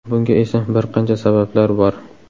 Bunga esa bir qancha sabablar bor.